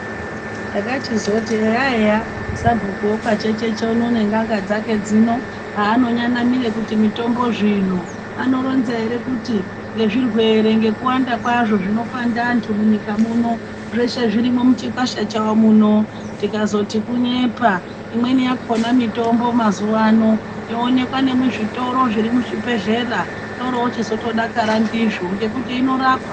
Takachizoti eya eya sabhuku wekwachecheche uno nen'anga dzake dzino haanonyanamire kuti mutombo zvino anoronza ere kuti ngezvirwere ngekuwanda kwazvo zvinopanda anthu munyika muno zveshe zvirimo muchikwasha chawo muno tikazoti kunyepa imweni yakhona mitombo mazuwa ano yoonekwa nemuzvitoro zviri muzvibhedhlera toorochi zotodakara ndizvo ngekuti inorapa.